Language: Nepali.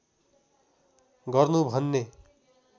गर्नु भन्ने